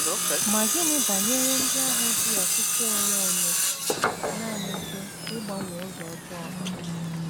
Ma gịnị banyere ndị ahụ ji ọchịchọ onwe onye nanị jụ ịgbanwe ụzọ ọjọọ ha?